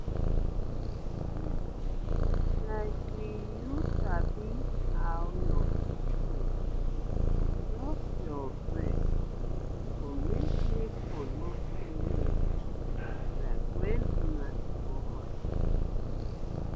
wait like we you sabi how your pikin go suck your breast go make nipple no pain you like wen una dey go hospital